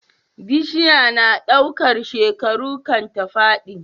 Bishiya na ɗaukar shekaru kan ta fadi